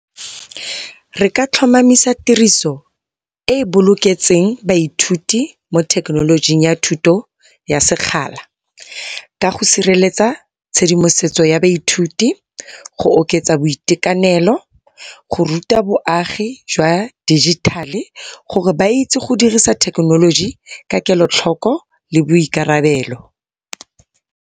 Reka tlhomamisa tiriso e e boloketseng baithuti mo thekenolojing ya thuto ya sekgala, ka go sireletsa tshedimosetso ya baithuti, go oketsa boitekanelo, go ruta bo agi jwa dijithale, gore ba itse go dirisa thekenoloji ka kelotlhoko le boikarabelo.